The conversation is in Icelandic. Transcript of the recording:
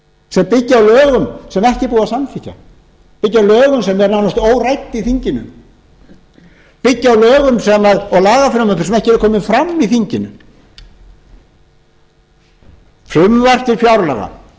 sem byggja á lögum sem ekki er búið að samþykkja byggja á lögum sem eru nánast órædd í þinginu byggja á lögum og lagafrumvörpum sem ekki eru komin fram í þinginu frumvarp til fjárlaga og fjárlög